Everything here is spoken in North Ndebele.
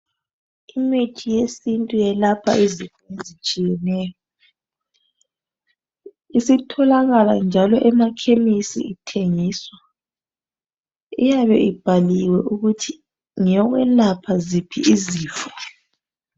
Imithi yesintu yelapha izinto ezitshiyeneyo. Isitholakala njalo emakhemisi ithengiswa . Iyabe ibhaliwe ukuthi ngeyokwelapha ziphi izifo.